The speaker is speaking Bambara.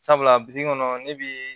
Sabula bi kɔnɔ ne bi